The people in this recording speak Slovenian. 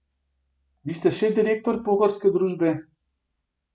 Vi ste še direktor pohorske družbe.